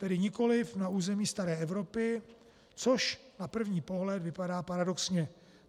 Tedy nikoliv na území staré Evropy, což na první pohled vypadá paradoxně.